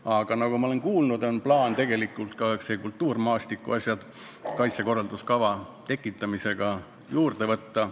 Aga nagu ma olen kuulnud, tegelikult on plaanis ka kultuurmaastiku asjad kaitsekorralduskava tekitamisega juurde võtta.